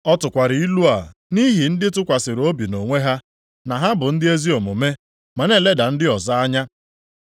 Ọ tụkwara ilu a nʼihi ndị tụkwasịrị obi nʼonwe ha na ha bụ ndị ezi omume ma na-eleda ndị ọzọ anya.